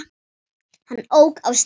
Hann ók af stað.